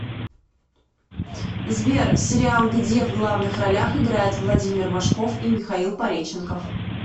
сбер сериал где в главных ролях играет владимир машков и михаил пореченков